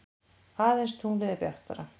Aðeins tunglið er bjartara.